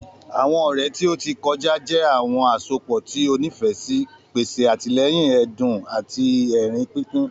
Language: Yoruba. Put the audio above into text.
Àwọn ọrẹ ti o ti kọja jẹ awọn asopọ ti o nifẹ si, pese atilẹyin ẹdun ati ẹrin pinpin.